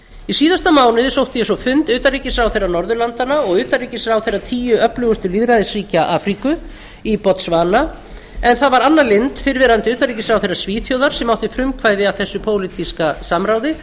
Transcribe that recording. í síðasta mánuði sótti ég svo fund utanríkisráðherra norðurlandanna og utanríkisráðherra tíu öflugustu lýðræðisríkja afríku í botswana en það var anna lindh fyrrverandi utanríkisráðherra svíþjóðar sem átti frumkvæði að þessu pólitíska samráði